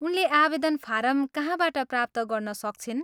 उनले आवेदन फारम कहाँबाट प्राप्त गर्न सक्छिन्?